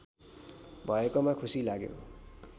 भएकोमा खुसी लाग्यो